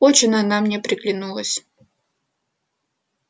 очень она мне приглянулась